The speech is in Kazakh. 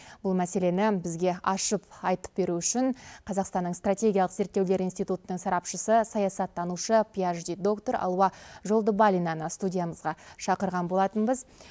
бұл мәселені бізге ашып айтып беру үшін қазақстанның стратегиялық зерттеулер институнының сарапшысы саясаттанушы пиашди доктор алуа жолдыбалинаны студиямызға шақырған болатынбыз